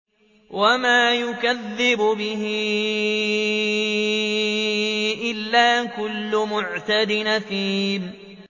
وَمَا يُكَذِّبُ بِهِ إِلَّا كُلُّ مُعْتَدٍ أَثِيمٍ